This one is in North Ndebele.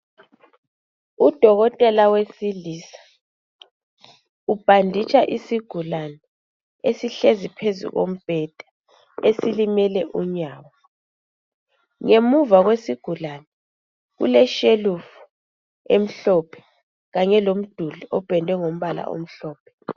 Udokotela wesilisa ubhaditsha isigulane esihlezi phezu kombheda, esilimele unyawo. Ngemuva kwesigulane, kule shelufu emhlophe kanye lomduli ophendwe ngomphala omhlophe.